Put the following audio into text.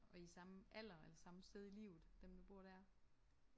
Og I er samme alder eller samme sted i livet dem der bor der?